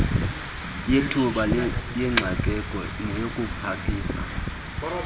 yethuba lengxakeko neyokupakisa